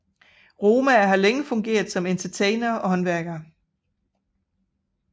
Romaer har længe fungeret som entertainere og håndværkere